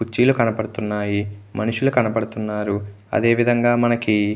కుర్చీలు కనబడుతున్నాయి మనుషులు కనబడుతున్నారు అదే విదంగా మనకి.